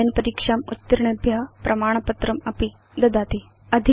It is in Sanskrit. ओनलाइन् परीक्षाम् उत्तीर्णेभ्य प्रमाणपत्रमपि ददाति